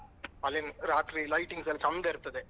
ಅಲ್ಲಿ ರಾತ್ರಿ lightings ಎಲ್ಲ ಚಂದ ಇರ್ತದೆ.